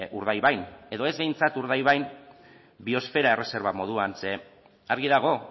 urdaibain edo ez behintzat urdaibain biosfera erreserba moduan ze argi dago